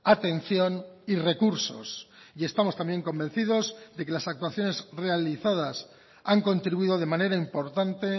atención y recursos y estamos también convencidos de que las actuaciones realizadas han contribuido de manera importante